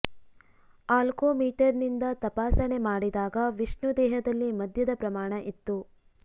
ಆಲ್ಕೋ ಮೀಟರ್ನಿಂದ ತಪಾಸಣೆ ಮಾಡಿದಾಗ ವಿಷ್ಣು ದೇಹದಲ್ಲಿ ಮದ್ಯದ ಪ್ರಮಾಣ ಇತ್ತು